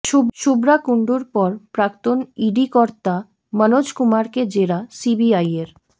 শুভ্রা কুণ্ডুর পর প্রাক্তন ইডি কর্তা মনোজ কুমারকে জেরা সিবিআইয়ের